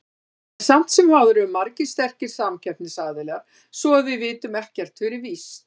En samt sem áður eru margir sterkir samkeppnisaðilar, svo að við vitum ekkert fyrir víst.